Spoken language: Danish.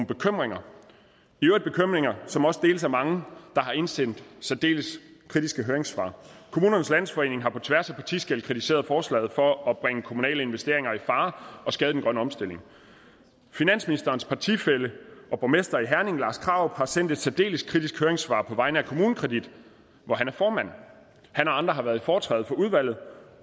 bekymringer som også deles af mange der har indsendt særdeles kritiske høringssvar kommunernes landsforening har på tværs af partiskel kritiseret forslaget for at bringe kommunale investeringer i fare og skade den grønne omstilling finansministerens partifælle og borgmester i herning lars krarup har sendt et særdeles kritisk høringssvar på vegne af kommunekredit hvor han er formand han og andre har været i foretræde for udvalget